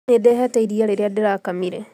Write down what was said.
Nĩ ndehete iria rĩrĩa ndĩrakamire